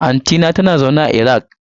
Anti ta a Iran take zama.